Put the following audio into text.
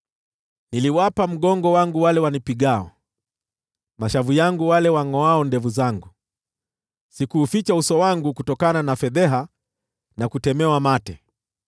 Niliwapa mgongo wangu wale wanipigao, mashavu yangu wale wangʼoao ndevu zangu; sikuuficha uso wangu kutokana na fedheha na kutemewa mate.